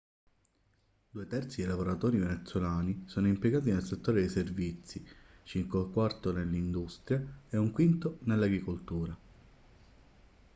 due terzi dei lavoratori venezuelani sono impiegati nel settore dei servizi circa un quarto nell'industria e un quinto nell'agricoltura